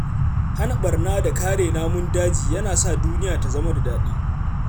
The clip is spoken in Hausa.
Hana barna da kare namun daji yana sa duniya ta zama da daɗi.